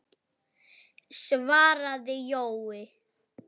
svaraði Jói.